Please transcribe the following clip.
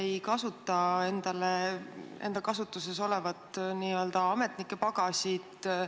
Miks te ei kasuta enda kasutuses olevat n-ö ametnike pagasit?